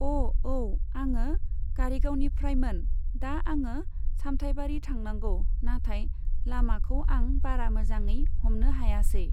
अ' औ आङो कारिगावनिफ्रायमोन, दा आङो सामथाइबारि थांनांगौ नाथाय लामाखौ आं बारा मोजाङै हमनो हायासै।